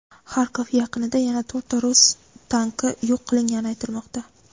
Xarkov yaqinida yana to‘rtta rus tanki yo‘q qilingani aytilmoqda.